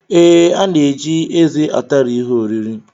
Ee, a na-eji eze atari ihe oriri